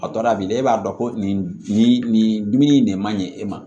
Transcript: A dɔ la bilen e b'a dɔn ko nin nin dumuni de man ɲi e ma